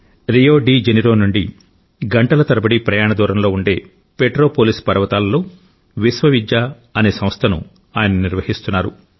Rio de Janeiro నుండి గంటల తరబడి ప్రయాణ దూరంలో ఉండే పెట్రో పోలిస్ పర్వతాలలో విశ్వవిద్య అనే సంస్థను ఆయన నిర్వహిస్తున్నారు